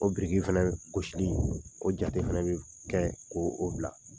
O biriki fɛnɛ gosili, o jate fɛnɛ be f kɛ koo o bila.